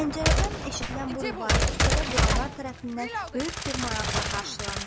Pəncərədən eşidilən bu rübai küçədə duranlar tərəfindən böyük bir maraqla qarşılandı.